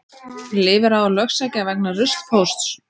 Lifir á að lögsækja vegna ruslpósts